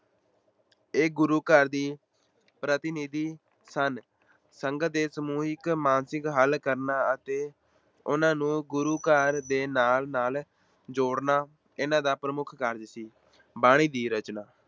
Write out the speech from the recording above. ਇਹ ਗੁਰੂ ਘਰ ਦੇ ਪ੍ਰਤਿਨਿਧੀ ਸਨ, ਸੰਗਤ ਦੇ ਸਮੂਹਿਕ ਮਾਨਸਿਕ ਹੱਲ ਕਰਨਾ ਅਤੇ ਉਹਨਾਂ ਨੂੰ ਗੁਰੂ ਘਰ ਦੇ ਨਾਲ-ਨਾਲ ਜੋੜਨਾਂ ਇਹਨਾਂ ਦਾ ਪ੍ਰਮੁੱਖ ਕਾਰਜ ਸੀ, ਬਾਣੀ ਦੀ ਰਚਨਾ